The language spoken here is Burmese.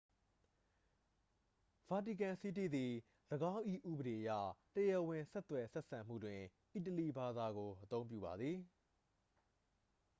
ဗာတီကန်စီးတီးသည် ၎င်း၏ ဥပဒေအရတရားဝင်ဆက်သွယ်ဆက်ဆံမှုတွင် အီတလီဘာသာကို အသုံးပြုပါသည်